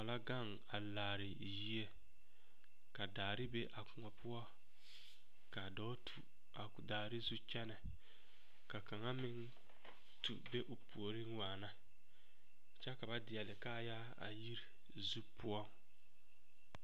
Koɔ la gaŋ a laare yie ka daare be a koɔ poɔ ka dɔɔ tu a daare zu kyɛnɛ ka kaŋa meŋ tu be o puoriŋ waana kyɛ ka ba deɛle kaayaa a yiri zu poɔ.